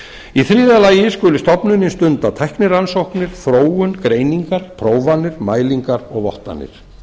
í þriðja lagi skuli stofnunin stunda tæknirannsóknir þróun greiningar prófanir mælingar og vottanir